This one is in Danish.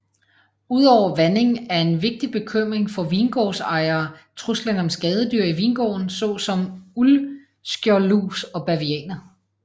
Udover vanding er en vigtig bekymring for vingårdsejere truslen om skadedyr i vingården såsom uldskjoldlus og bavianer